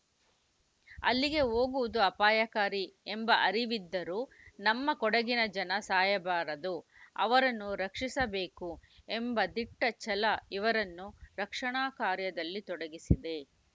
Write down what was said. ಅಲ್ಲಿಗೆ ಹೋಗುವುದು ಅಪಾಯಕಾರಿ ಎಂಬ ಅರಿವಿದ್ದರೂ ನಮ್ಮ ಕೊಡಗಿನ ಜನ ಸಾಯಬಾರದು ಅವರನ್ನು ರಕ್ಷಿಸಬೇಕು ಎಂಬ ದಿಟ್ಟಛಲ ಇವರನ್ನು ರಕ್ಷಣಾ ಕಾರ್ಯದಲ್ಲಿ ತೊಡಗಿಸಿದೆ